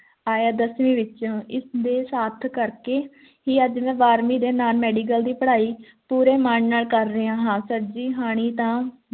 ਆਇਆ ਦਸਵੀਂ ਵਿੱਚੋਂ ਇਸ ਦੇ ਸਾਥ ਕਰਕੇ ਹੀ ਮੈਂ ਅੱਜ ਬਾਰ੍ਹਵੀਂ ਦੇ non medical ਦੀ ਪੜ੍ਹਾਈ ਪੂਰੇ ਮਾਣ ਨਾਲ ਕਰ ਰਿਹਾ ਹਾਂ sir ਜੀ ਹਾਣੀ ਤਾਂ